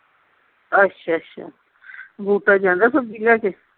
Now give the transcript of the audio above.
ਅੱਛਾ ਅੱਛਾ ਜਾਂਦਾ ਸਬਜੀ ਲੈ ਕੇ